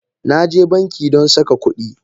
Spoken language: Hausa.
Na je banki don saka kudi.